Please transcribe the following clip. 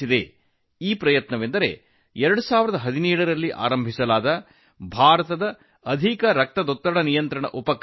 ಇದು 2017 ರಲ್ಲಿ ಪ್ರಾರಂಭವಾದ ಪ್ರಯತ್ನವಾಗಿದೆ ಅದುವೇ ಭಾರತದ ಅಧಿಕ ರಕ್ತದೊತ್ತಡ ನಿಯಂತ್ರಣ ಉಪಕ್ರಮ